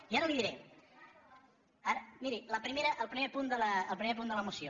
i ara li diré miri el primer punt de la moció